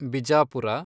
Bijapur